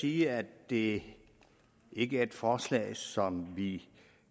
sige at det ikke er et forslag som vi